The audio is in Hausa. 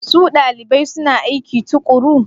Su dalibai suna aiki tuƙuru?